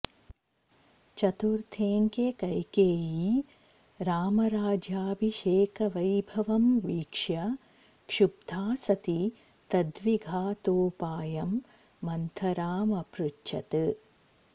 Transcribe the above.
चतुर्थेऽङ्के कैकेयी रामराज्याभिषेकवैभवं वीक्ष्य क्षुब्धा सती तद्विघातोपायं मन्थरामपृच्छत्